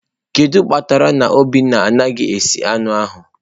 Gịnị kpatara na obinna anaghị esi anụ ahu?